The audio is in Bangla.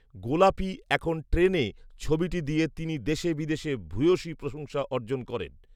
"গোলাপী এখন ট্রেনে" ছবিটি দিয়ে তিনি দেশে বিদেশে ভূয়সী প্রশংসা অর্জন করেন